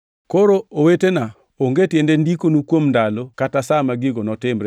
Koro owetena, onge tiende ndikonu kuom ndalo kata sa ma gigo notimre,